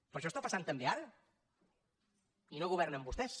però això està passant també ara i no governen vostès